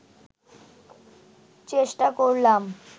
চেষ্টা করলাম